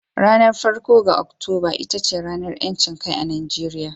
Ranar farko ga Oktoba ita ce ranar 'yancin kai a Najeriya